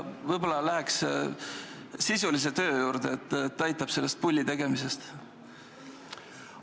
Võib-olla läheks sisulise töö juurde, aitab sellest pullitegemisest!